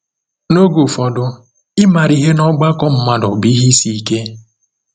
N’oge ụfọdụ, ịmara ihe n’ọgbakọ mmadụ bụ ihe isi ike.